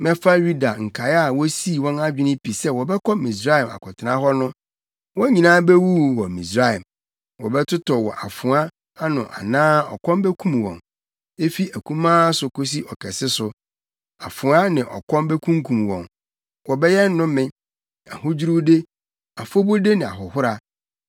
Mɛfa Yuda nkae a wosii wɔn adwene pi sɛ wɔbɛkɔ Misraim akɔtena hɔ no. Wɔn nyinaa bewuwu wɔ Misraim; wɔbɛtotɔ wɔ afoa ano anaa ɔkɔm bekum wɔn. Efi akumaa so kosi ɔkɛse so, afoa ne ɔkɔm bekunkum wɔn. Wɔbɛyɛ nnome, ahodwiriwde, afɔbude ne ahohora.